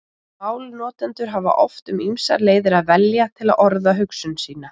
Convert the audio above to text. Málnotendur hafa oft um ýmsar leiðir að velja til að orða hugsun sína.